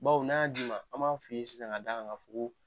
Baw n'a d'i ma an b'a f'i ye sisan ka d'a kan k'a fɔ ko.